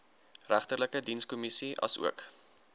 regterlike dienskommissie asook